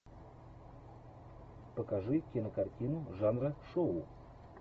покажи кинокартину жанра шоу